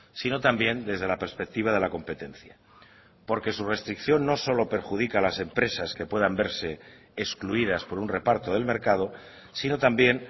sino también desde la perspectiva de la competencia porque su restricción no solo perjudica a las empresas que puedan verse excluidas por un reparto del mercado sino también